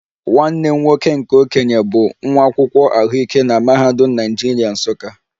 Nwanne m nwoke nke okenye bụ nwa akwụkwọ ahụike na Mahadum Naijiria, Nsukka